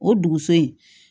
O dugusɛ